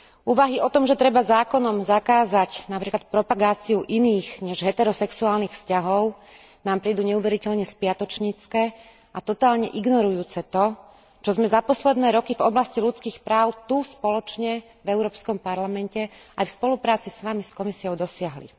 Úvahy o tom, že treba zákonom zakázať napríklad propagáciu iných než heterosexuálnych vzťahov, nám prídu neuveriteľne spiatočnícke a totálne ignorujúce to, čo sme za posledné roky v oblasti ľudských práv tu spoločne v Európskom parlamente aj v spolupráci s vami, s Komisiou, dosiahli.